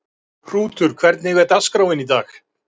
Hrútur, hvernig er dagskráin í dag?